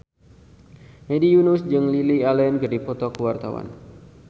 Hedi Yunus jeung Lily Allen keur dipoto ku wartawan